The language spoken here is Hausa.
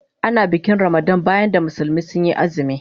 Ana bikin Ramadan bayan da musulmi sun yi azumi.